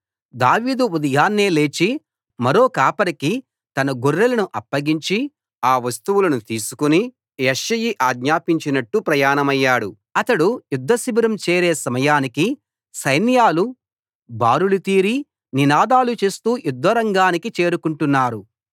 దావీదు ఉదయాన్నే లేచి మరో కాపరికి తన గొర్రెలను అప్పగించి ఆ వస్తువులను తీసుకు యెష్షయి ఆజ్ఞాపించినట్టు ప్రయాణమయ్యాడు అతడు యుద్ధ శిబిరం చేరే సమయానికి సైన్యాలు బారులుతీరి నినాదాలు చేస్తూ యుద్ధరంగానికి చేరుకొంటున్నారు